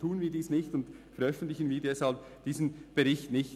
Tun wir dies nicht, und veröffentlichen wir deshalb diesen Bericht nicht.